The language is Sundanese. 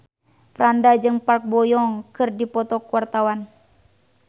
Franda jeung Park Bo Yung keur dipoto ku wartawan